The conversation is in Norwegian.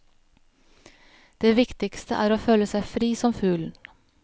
Det viktigste er å føle seg fri som fuglen.